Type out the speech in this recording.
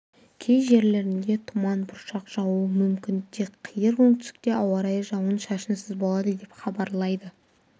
кей жерлерінде тұман бұршақ жаууы мүмкін тек қиыр оңтүстікте ауа райы жауын-шашынсыз болады деп хабарлайды